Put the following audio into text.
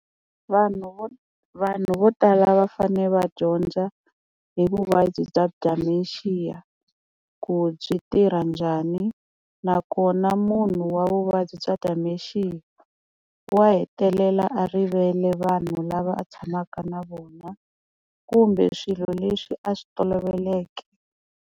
Vanhu vo vanhu vo tala va fane va dyondza hi vuvabyi bya dementia ku byi tirha njhani, nakona munhu wa vuvabyi bya dementia wa hetelela a rivele vanhu lava a tshamaka na vona kumbe swilo leswi a swi toloveleke.